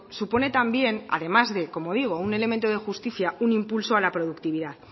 supone también además de como digo un elemento de justicia un impulso a la productividad